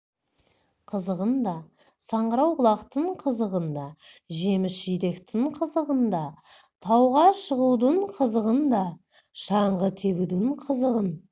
қызығын да саңырауқұлақтың қызығын да жеміс-жидектің қызығын да тауға шығудың қызығын да шаңғы тебудің қызығын